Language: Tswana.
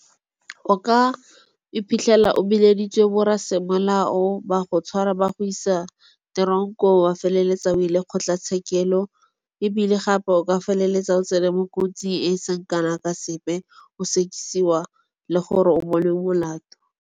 O ka iphitlhela o bileditswe bo rra semolao ba go tshwara ba go isa teronkong wa feleletsa o ile kgotlatshekelo. Ebile gape o ka feleletsa o tsene mo kotsing e seng kana ka sepe o sekisiwa le gore o bonwe molato.